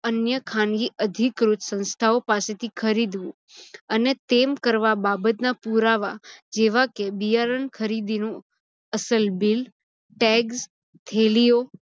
અન્ય ખાનગી અધિક્રુત સંશ્થાઓ પાસેથી ખરીદવું અને તેમ કરવા બાબત ના પુરાવા જેવા કે બિયારણ ખરીદીનું અસલ bill, tags, થેલિઓ